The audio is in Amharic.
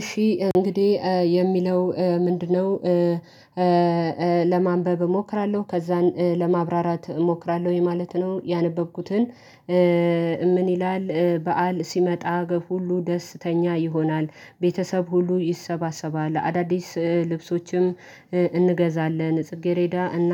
እሺ እንግዲህ የሚለው ምንድነው? ለማንበብ እሞክራለሁ ከዛን ለማብራራት እሞክራለሁ ይሄ ማለት ነው። ያነበብኩትን ምን ይላል በዓል ሲመጣ በጉ ሁሉ ደስተኛ ይሆናል። ቤተሰብ ሁሉ ይሰባሰባል አዳዲስ ልብሶችም እንገዛለን። ጽጌሬዳ እና